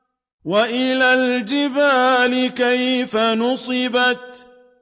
وَإِلَى الْجِبَالِ كَيْفَ نُصِبَتْ